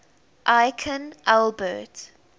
aikin albert